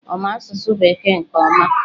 Ọ ma asụsụ Bekee nke ọma?